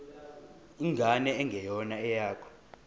ingane engeyona eyakho